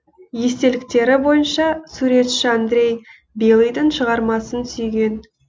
естеліктері бойынша суретші андрей белыйдың шығармасын сүйген